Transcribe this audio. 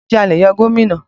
Ǹjẹ́ a lè yọ gómìnà?